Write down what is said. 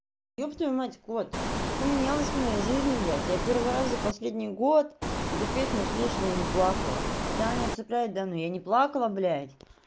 ёб твою мать кот что-то поменялось в моей жизни блять я первый раз за последний год эту песню слушала и не плакала хотя она меня цепляет да но я не плакала блять